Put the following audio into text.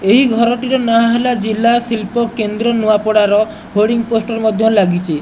ଏହି ଘରଟିର ନାଁ ହେଲା ଜିଲା ଶିଳ୍ପ କେନ୍ଦ୍ର ନୂଆପଡା ର ବୋର୍ଡିଂ ପୋଷ୍ଟର ମଧ୍ୟ ଲାଗିଛି।